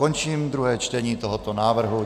Končím druhé čtení tohoto návrhu.